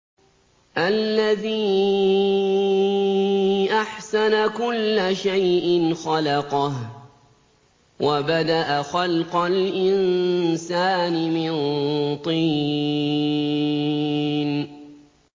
الَّذِي أَحْسَنَ كُلَّ شَيْءٍ خَلَقَهُ ۖ وَبَدَأَ خَلْقَ الْإِنسَانِ مِن طِينٍ